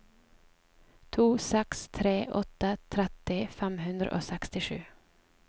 to seks tre åtte tretti fem hundre og sekstisju